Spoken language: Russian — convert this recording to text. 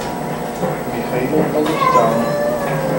михаил галустян